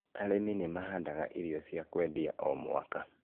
arĩmi nĩ mahandaga irio cia kwendia o mwaka